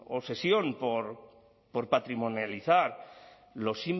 obsesión por patrimonializar los